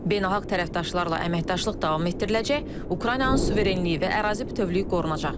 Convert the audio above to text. Beynəlxalq tərəfdaşlarla əməkdaşlıq davam etdiriləcək, Ukraynanın suverenliyi və ərazi bütövlüyü qorunacaq.